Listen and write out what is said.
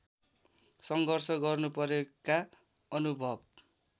सङ्घर्ष गर्नुपरेका अनुभव